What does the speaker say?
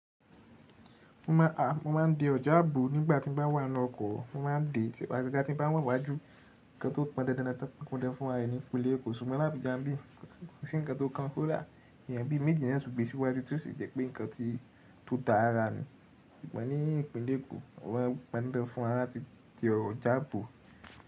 Mo má ń de ọjà àbò nígbà tí mo bá wà nínú ọkọ̀. Mo má ń de agagá tín bá wà níwájú. Ǹkan tó pọn dandandan tó pọn dandan fún ra ẹ ni, kò le. Ṣùgbọ́n làbíja n bí. Kò sí ǹkan tó kan kódà. Èèyàn bí i méjì náà tún gbé síwájú tí ó sì jẹ́ pé ǹkan ti to da rárá ni. Ṣùgbọ́n ní ìpínlẹ̀ Èkó wọ́n pọn dan fún wa láti ti ọjà bò.